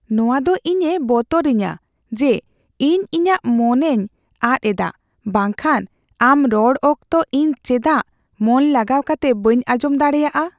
ᱱᱚᱶᱟ ᱫᱚ ᱤᱧᱮ ᱵᱚᱛᱚᱨ ᱟᱹᱧᱟᱹ ᱡᱮ ᱤᱧ ᱤᱧᱟᱹᱜ ᱢᱚᱱᱮᱧ ᱟᱫ ᱮᱫᱟ, ᱵᱟᱝᱠᱷᱟᱱ, ᱟᱢ ᱨᱚᱲ ᱚᱠᱛᱚ ᱤᱧ ᱪᱮᱫᱟᱜ ᱢᱚᱱ ᱞᱟᱜᱟᱣ ᱠᱟᱛᱮ ᱵᱟᱹᱧ ᱟᱸᱡᱚᱢ ᱫᱟᱲᱮᱭᱟᱜᱼᱟ ? (ᱜᱟᱛᱮ 1)